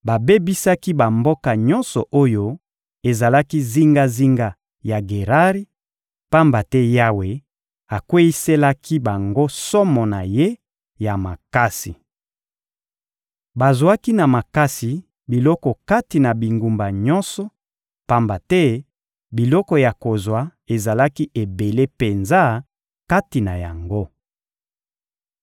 babebisaki bamboka nyonso oyo ezalaki zingazinga ya Gerari, pamba te Yawe akweyiselaki bango somo na Ye ya makasi. Bazwaki na makasi biloko kati na bingumba nyonso, pamba te biloko ya kozwa ezalaki ebele penza kati na yango.